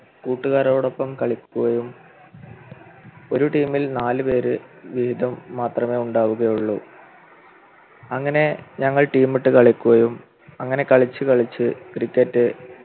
കൂട്ടുകാരോടൊപ്പം കളിക്കുകയും ഒരു team ൽ നാലു പേര് വീതം മാത്രമേ ഉണ്ടാവുകയുള്ളൂ അങ്ങനെ ഞങ്ങൾ team ഇട്ട് കളിക്കുകയും അങ്ങനെ കളിച്ചു കളിച്ച് Cricket